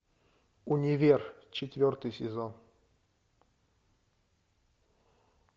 универ четвертый сезон